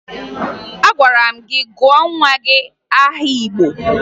Agwara m gị gụọ nwa gị aha Igbo!